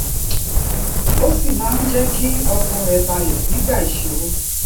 ó sì máa ń jé kí ọkàn rè balè nígbà ìṣòro